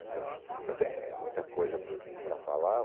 Então, é muita coisa para falar.